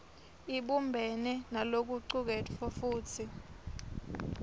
ibumbene nalokucuketfwe futsi